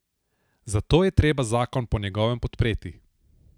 Zato je treba zakon po njegovem podpreti.